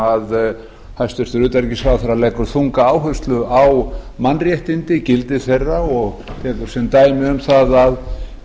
sem hæstvirtur utanríkisráðherra leggur þunga áherslu á mannréttindi gildi þeirra og tekur sem dæmi um það að